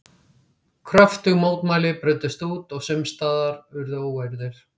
Kröftug mótmæli brutust út og sums staðar urðu óeirðir.